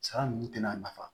Sara ninnu tɛna nafa